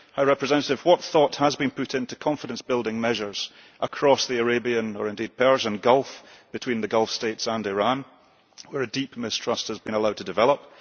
High Representative, what thought has been put into confidence building measures across the Arabian, or indeed the Persian Gulf between the Gulf States and Iran, where a deep mistrust has been allowed to develop?